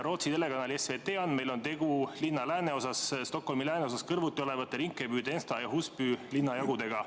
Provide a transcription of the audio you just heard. Rootsi telekanali SVT andmeil on tegu linna lääneosas kõrvuti olevate Järva, Rinkeby, Tensta ja Husby linnajagudega.